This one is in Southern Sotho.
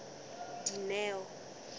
dineo